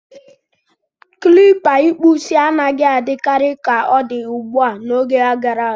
Klipa ikpu isi anaghị adị karị ka odi ugbua, n'oge gara aga.